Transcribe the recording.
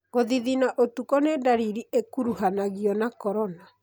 Gũthithina ũtukũ nĩ ndariri ĩkuruhanagio na corona.